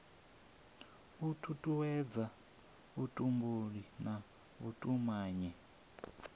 u tutuwedza vhutumbuli na vhutumanyi